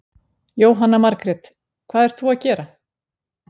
Jóhanna Margrét: Hvað ert þú að gera?